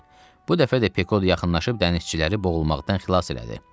Bu dəfə də Pekod yaxınlaşıb dənizçiləri boğulmaqdan xilas elədi.